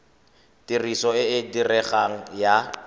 tiriso e e diregang ya